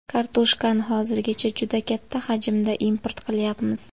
Kartoshkani hozirgacha juda katta hajmda import qilyapmiz.